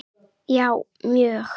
Já mjög